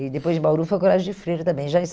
E depois de Bauru foi ao Colégio de Freira também. Já em